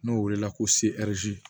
N'o welela ko seriti